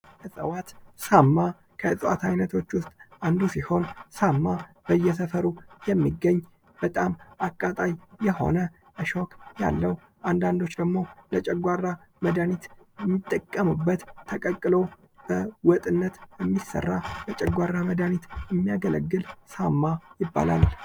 እጽዋት፤ ሳማ ከእጽዋት አይነቶች ውስጥ አንዱ ሲሆን ሳማ በየሰፈሩ የሚገኝ በጣም አቃታይ የሆነ እሾህ ያለው አንዳንዶች ደሞ የጨጓራ መዳኒት የሚጠቀሙበት ተቀቅሎ በወጥነት የሚሰራ የጨጓራ መድሃኒት የሚያገለግል ሳማ ይባላል።